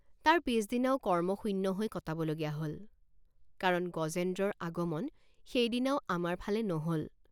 তাৰ পিচদিনাও কৰ্মশূন্য হৈ কটাবলগীয়া হল কাৰণ গজেন্দ্ৰৰ আগমন সেইদিনাও আমাৰ ফালে নহল।